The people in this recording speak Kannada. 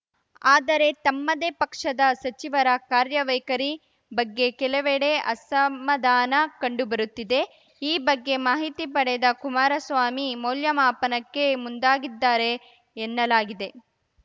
ಆದರೆ ತಮ್ಮದೇ ಪಕ್ಷದ ಸಚಿವರ ಕಾರ್ಯವೈಖರಿ ಬಗ್ಗೆ ಕೆಲವೆಡೆ ಅಸಮಾಧಾನ ಕಂಡುಬರುತ್ತಿದೆ ಈ ಬಗ್ಗೆ ಮಾಹಿತಿ ಪಡೆದ ಕುಮಾರಸ್ವಾಮಿ ಮೌಲ್ಯಮಾಪನಕ್ಕೆ ಮುಂದಾಗಿದ್ದಾರೆ ಎನ್ನಲಾಗಿದೆ